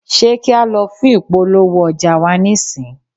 ṣe kí a lọ fún ìpolówó ọjà wa nísìń?